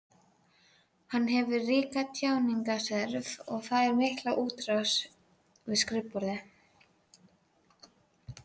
Hann hefur ríka tjáningarþörf og fær mikla útrás við skrifborðið.